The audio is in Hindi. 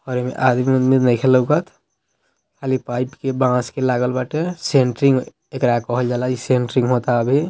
और इ में आज भी नइखे लउकत | खली पाइप के बॉस के लागल बाटे सेंटरिंग एकरा कहल जा ला | इ सेंटरिंग होएता अभी |